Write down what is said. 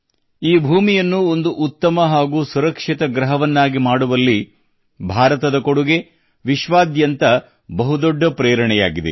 ಈ ಭೂಮಿಯನ್ನು ಒಂದು ಉತ್ತಮ ಹಾಗು ಸುರಕ್ಷಿತ ಗ್ರಹವನ್ನಾಗಿ ಮಾಡುವಲ್ಲಿ ಭಾರತದ ಕೊಡುಗೆ ವಿಶ್ವಾದ್ಯಂತ ಬಹು ದೊಡ್ಡ ಪ್ರೇರಣೆಯಾಗಿದೆ